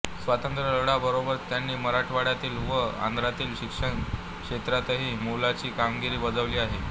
स्वातंत्र्य लढ्या बरोबरच त्यांनी मराठवाड्यातिल व आंध्रातील शिक्षण क्षेत्रातही मोलाची कामगिरी बजावली आहे